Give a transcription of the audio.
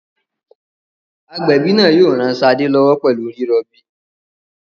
Agbẹ̀bí náà yóò ran Ṣadé lọ́wọ́ pẹ̀lú rírọbí.